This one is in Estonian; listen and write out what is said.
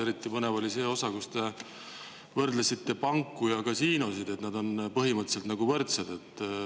Eriti põnev oli see osa, kus te võrdlesite panku ja kasiinosid, et need on põhimõtteliselt nagu võrdsed.